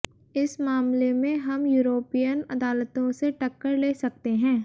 इस मामले में हम युरोपियन अदालतों से टक्कर ले सकते हैं